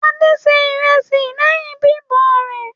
Adé se ìrẹsì lẹ́yìn bíbọ̀ rẹ̀.